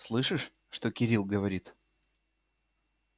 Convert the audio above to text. слышишь что кирилл говорит